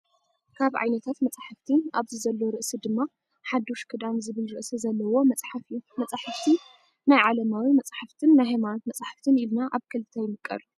ካብ ዓይነታት መፅሓፍቲ ኣብዚ ዘሎ ርእሲ ድማ ሓዱሽ ክዳን ዝብል ርእሲ ዘለዎ መፅሓፍ እዩ። መፅሓፍቲ ናይ ዓለማዊ መፀሓፍትን ናይ ሃይማኖት መፅሓፍትን ኢልና ኣብ ክልተ ይምቀሉ።